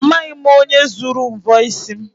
Amaghị m onye zuru mvọ isi m.